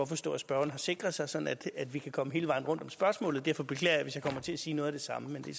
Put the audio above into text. forstå at spørgeren har sikret sig sådan at vi kan komme hele vejen rundt om spørgsmålet derfor beklager jeg hvis jeg kommer til at sige noget af det samme men det